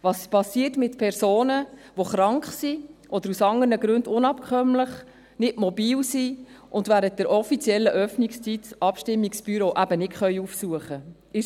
Was geschieht mit Personen, die krank oder aus anderen Gründen unabkömmlich sind, die nicht mobil sind und während der offiziellen Öffnungszeit das Abstimmungsbüro eben nicht aufsuchen können?